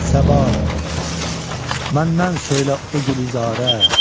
Səba, məndən söylə o gülüzarə.